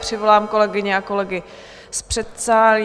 Přivolám kolegyně a kolegy z předsálí.